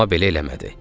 Amma belə eləmədi.